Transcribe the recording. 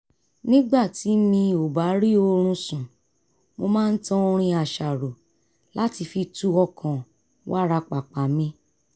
nígbà tí mi ò bá rí oorun sùn mo máa ń tan orin àṣàrò láti fi tu ọkàn wárapàpà mi